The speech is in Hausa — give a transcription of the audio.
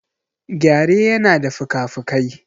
Gyare yana da fikafikai.